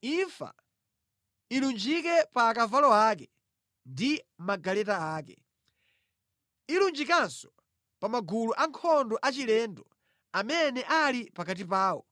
Imfa ilunjike pa akavalo ake ndi magaleta ake. Ilunjikanso pa magulu ankhondo achilendo amene ali pakati pawo